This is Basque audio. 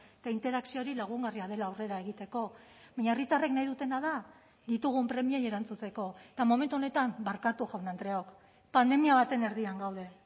eta interakzio hori lagungarria dela aurrera egiteko baina herritarrek nahi dutena da ditugun premiei erantzuteko eta momentu honetan barkatu jaun andreok pandemia baten erdian gaude